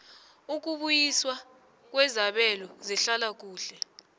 ukubuyiswa kwezabelo zehlalakuhle